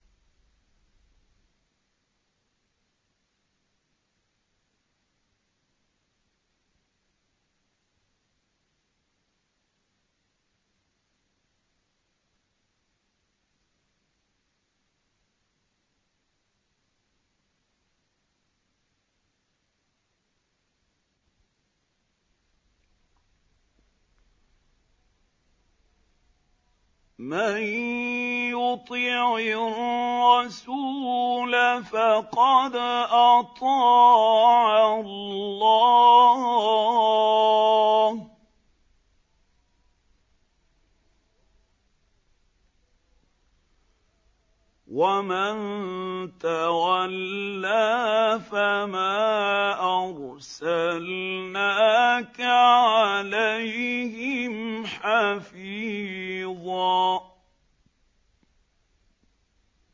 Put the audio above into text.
مَّن يُطِعِ الرَّسُولَ فَقَدْ أَطَاعَ اللَّهَ ۖ وَمَن تَوَلَّىٰ فَمَا أَرْسَلْنَاكَ عَلَيْهِمْ حَفِيظًا